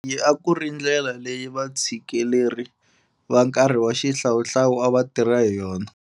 Leyi a ku ri ndlela leyi vatshikeleri va nkarhi wa xihlawuhlawu a va tirha hayona.